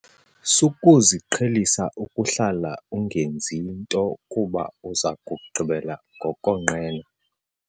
Sukuziqhelisa ukuhlala ungenzi nto kuba uza kugqibela ngokonqena.